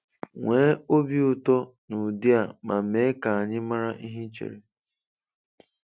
Nwee obi ụtọ na ụdị a ma mee ka anyị mara ihe ị chere.